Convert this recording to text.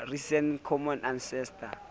recent common ancestor